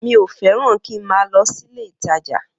Mi o fẹ́ràn kí má lọ sílé ìtajà